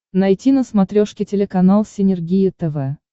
найти на смотрешке телеканал синергия тв